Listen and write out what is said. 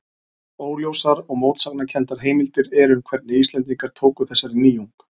Óljósar og mótsagnakenndar heimildir eru um hvernig Íslendingar tóku þessari nýjung.